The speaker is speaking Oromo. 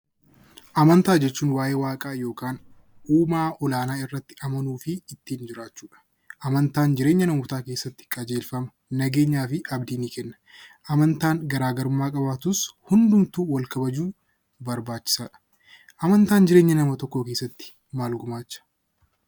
Amantaa jechuun waayee waaqaa uumaa olaanaa irratti amanuufi ittiin jiraachuudha. Amantaan jireenya namootaa keessaatti qajeelfama, nageenyaafi abdii ni kenna amantaan garaagarummaa qabaatus amantaa hundumtuu wal kabaju barbaachisaadha. Amantaan jireenya nama tokkoo keessatti maal gumaacha?